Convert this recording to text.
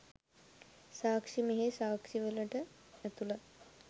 සාක්ෂි මෙහි සාක්ෂිවලට ඇතුළත්